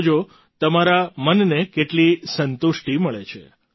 જોજો તમારા મનને કેટલી સંતુષ્ટિ મળે છે